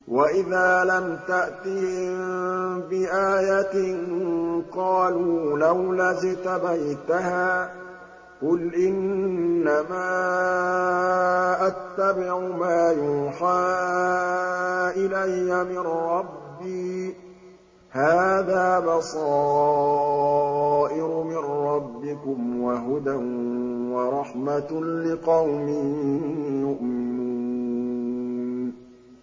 وَإِذَا لَمْ تَأْتِهِم بِآيَةٍ قَالُوا لَوْلَا اجْتَبَيْتَهَا ۚ قُلْ إِنَّمَا أَتَّبِعُ مَا يُوحَىٰ إِلَيَّ مِن رَّبِّي ۚ هَٰذَا بَصَائِرُ مِن رَّبِّكُمْ وَهُدًى وَرَحْمَةٌ لِّقَوْمٍ يُؤْمِنُونَ